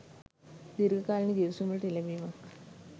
දීර්ඝ කාලින ගිවිසුම් වලට එළඹීමත්